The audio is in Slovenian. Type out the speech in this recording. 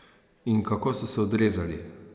In kako so se odrezali?